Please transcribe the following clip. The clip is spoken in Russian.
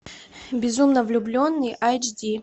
безумно влюбленный айч ди